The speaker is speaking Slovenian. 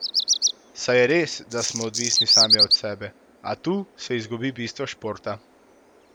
Saj je res, da smo odvisni sami od sebe, a tu se izgubi bistvo športa.